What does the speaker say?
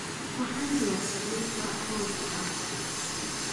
Waxaan diyaarsaday quraac rooti ah.